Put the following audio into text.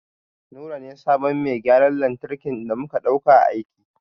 Nura ne sabon mai gyaran lantarki da muka ɗauka aiki.